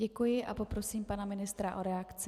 Děkuji a poprosím pana ministra o reakci.